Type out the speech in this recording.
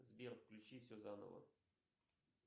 сбер включи все заново